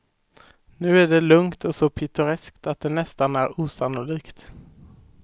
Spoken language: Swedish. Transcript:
Nu är det lugnt och så pittoreskt att det nästan är osannolikt.